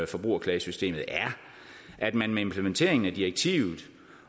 forbrugerklagesystemet er at man med implementeringen af direktivet